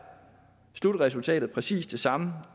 slutresultatet præcis det samme